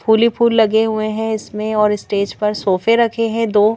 फूली फूल लगे हुए हैं इसमें और स्टेज पर सोफे रखे हैं दो।